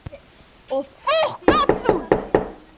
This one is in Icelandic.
Haldið sofandi á gjörgæslu